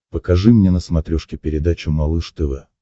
покажи мне на смотрешке передачу малыш тв